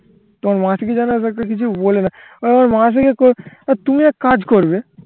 তোমার মাসি কি যেন এত একটা কিছু বলে না ও মাসিকে তুমি এক কাজ করবে